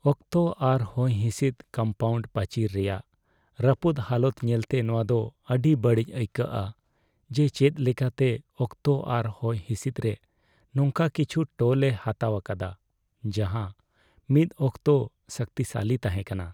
ᱚᱠᱛᱚ ᱟᱨ ᱦᱚᱭᱦᱤᱸᱥᱤᱫᱽ ᱠᱚᱢᱯᱟᱣᱩᱱᱰ ᱯᱟᱪᱤᱨ ᱨᱮᱭᱟᱜ ᱨᱟᱹᱯᱩᱫ ᱦᱟᱞᱚᱛ ᱧᱮᱞᱛᱮ, ᱱᱚᱶᱟ ᱫᱚ ᱟᱹᱰᱤ ᱵᱟᱹᱲᱤᱡ ᱟᱹᱭᱠᱟᱹᱜᱼᱟ ᱡᱮ ᱪᱮᱫ ᱞᱮᱠᱟᱛᱮ ᱚᱠᱛᱚ ᱟᱨ ᱦᱚᱭᱦᱤᱸᱥᱤᱫᱽ ᱨᱮ ᱱᱚᱝᱠᱟ ᱠᱤᱪᱷᱩ ᱴᱳᱞ ᱮ ᱦᱟᱛᱟᱣ ᱟᱠᱟᱫᱟ ᱡᱟᱦᱟᱸ ᱢᱤᱫ ᱚᱠᱛᱚ ᱥᱚᱠᱛᱤᱥᱟᱞᱤ ᱛᱟᱦᱮᱸ ᱠᱟᱱᱟ ᱾